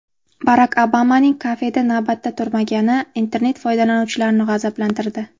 Barak Obamaning kafeda navbatda turmagani internet foydalanuvchilarini g‘azablantirdi.